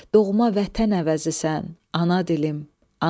Doğma vətən əvəzisən, ana dilim, ana dilim.